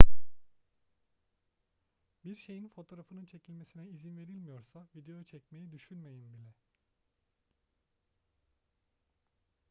bir şeyin fotoğrafının çekilmesine izin verilmiyorsa video çekmeyi düşünmeyin bile